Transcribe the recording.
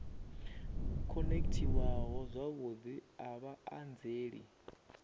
khonekhithiwaho zwavhudi a vha anzeli